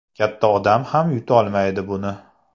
Katta odam ham yutolmaydi buni.